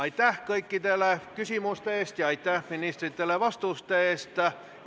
Aitäh kõikidele küsimuste eest ja aitäh ministritele vastuste eest!